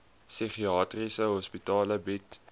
psigiatriese hospitale bied